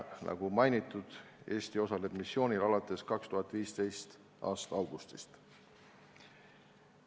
Nagu mainitud, Eesti osaleb missioonil alates 2015. aasta augustist.